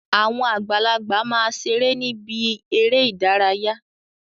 Àwọn àgbàlagbà ma ṣeré ni ibi eré ìdárayá.